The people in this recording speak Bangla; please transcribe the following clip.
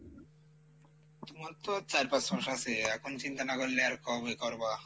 তুমার তো চার পাঁচ মাস আসে এখন চিন্তা না করলে আর কবে করবা।